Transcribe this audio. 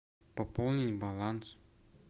пополнить баланс